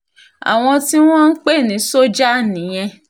àwọn tí wọ́n ń pè ní sójà nìyẹn